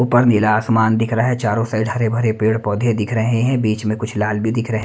ऊपर नीला आसमान दिख रहा है चारों साइड हरे भरे पेड़ पौधे दिख रहे हैं बीच में कुछ लाल भी दिख रहे हैं।